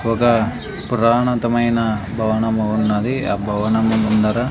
ఒక పురాణతమైన భవనము ఉన్నది ఆ భవనము ముందర--